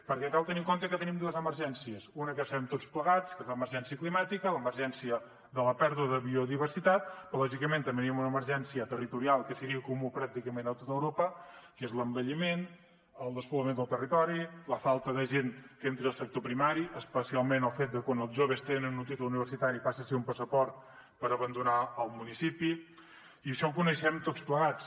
perquè cal tenir en compte que tenim dues emergències una que ja sabem tots plegats que és l’emergència climàtica l’emergència de la pèrdua de biodiversitat però lògicament també tenim una emergència territorial que seria comuna pràcticament a tot europa que és l’envelliment el despoblament del territori la falta de gent que entri el sector primari especialment el fet de quan els joves tenen un títol universitari i passa a ser un passaport per abandonar el municipi i això ho coneixem tots plegats